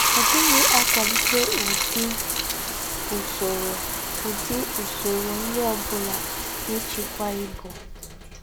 Ọ̀ díghị ákwàlíté údí́ ùsòrò údí́ ùsòrò nrí ọ́ búlà n’íchíkwá íbù